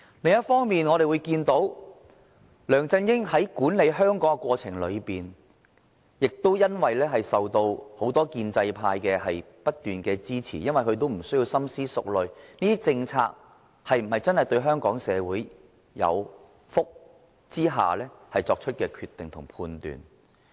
另一方面，我們看到梁振英在管理香港的過程裏，由於受到很多建制派的不斷支持，他無須深思熟慮政策是否真的造福香港社會的情況下作出的決定及判斷。